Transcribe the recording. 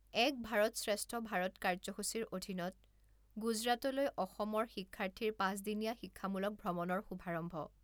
এক ভাৰত শ্ৰেষ্ঠ ভাৰত কাৰ্যসূচীৰ অধীনত গুজৰাটলৈ অসমৰ শিক্ষাৰ্থীৰ পাঁচদিনীয়া শিক্ষামূলক ভ্ৰমণৰ শুভাৰম্ভ